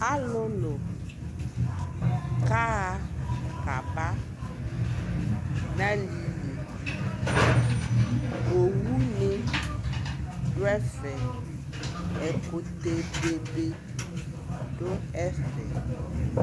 Alulu ka ɣa ka ba na liliOwu ni du ɛfɛƐkutɛ bebe du ɛfɛ